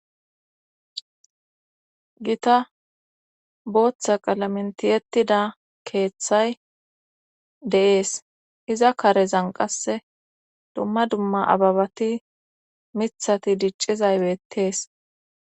Gita booththa qalamentiyettida keeththay de7ees iza karezan qasse dumma dumma ababati mithati diccizaybettees